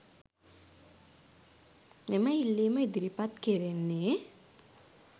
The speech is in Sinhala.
මෙම ඉල්ලීම ඉදිරිපත් කෙරෙන්නේ